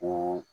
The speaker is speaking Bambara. Ko